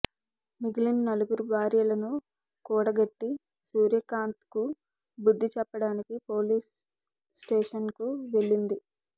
మిగిలిన నలుగురు భార్యలను కూడగట్టి సూర్యకాంత్కు బుద్ధి చెప్పడానికి పోలీస్ స్టేషన్కు వెళ్లింది